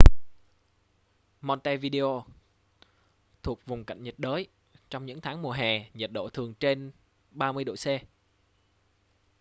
montevideo thuộc vùng cận nhiệt đới; trong những tháng mùa hè nhiệt độ thường trên +30°c